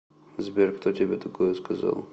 сбер кто тебе такое сказал